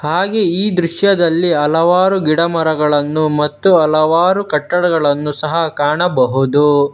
ಹಾಗೆ ಈ ದೃಶ್ಯದಲ್ಲಿ ಹಲವಾರು ಗಿಡಮರಗಳನ್ನು ಮತ್ತು ಹಲವಾರು ಕಟ್ಟಡಗಳನ್ನು ಸಹ ಕಾಣಬಹುದು.